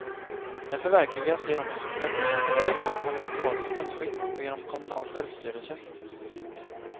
Den förverkligas genom ett representativt och parlamentariskt statsskick och genom kommunal självstyrelse.